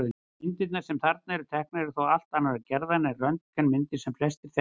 Myndirnar sem þarna eru teknar eru þó allt annarrar gerðar en röntgenmyndir sem flestir þekkja.